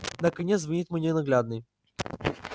наконец звонит мой ненаглядный